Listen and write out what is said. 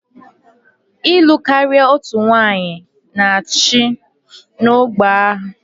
Ịlụ karia otu nwanyị na-achị n'ọgbọ ha